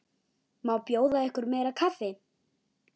Má bjóða ykkur meira kaffi?